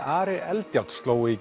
Ari Eldjárn sló í